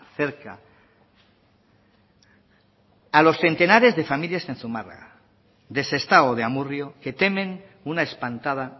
cerca a los centenares de familias en zumárraga de sestao o de amurrio que temen una espantada